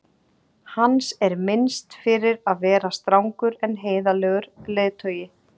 Hans er minnst fyrir að vera strangur en heiðarlegur leiðtogi.